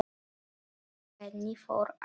Henni fór aftur.